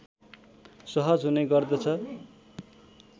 सहज हुने गर्दछ